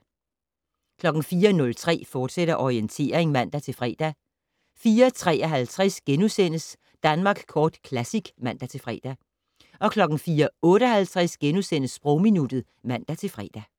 04:03: Orientering, fortsat (man-fre) 04:53: Danmark Kort Classic *(man-fre) 04:58: Sprogminuttet *(man-fre)